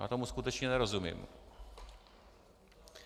Já tomu skutečně nerozumím.